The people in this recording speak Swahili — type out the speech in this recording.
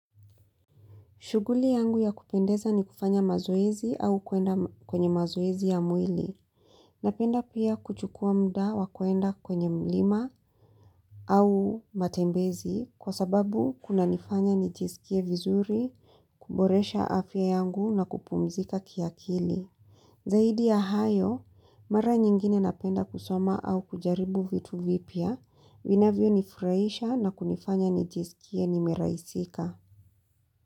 Shuguli yangu ya kupendeza ni kufanya mazoezi au kuenda kwenye mazoezi ya mwili. Napenda pia kuchukua mda wa kuenda kwenye mlima au matembezi kwa sababu kunanifanya nijisikie vizuri, kuboresha afya yangu na kupumzika kiakili. Zaidi ya hayo, mara nyingine napenda kusoma au kujaribu vitu vipya, vinavyonifurahisha na kunifanya nijisikie nimerahisika.